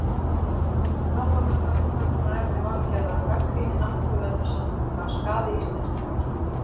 Hvað þá með það umkvörtunarefni Valgerðar að gagnrýni náttúruverndarsamtaka skaði íslenska hagsmuni?